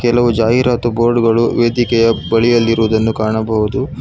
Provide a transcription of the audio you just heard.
ಕೆಲವು ಜಾಹೀರಾತು ಬೋರ್ಡು ಗಳು ವೇದಿಕೆಯ ಬಳಿಯಲ್ಲಿರುವುದನ್ನು ಕಾಣಬಹುದು.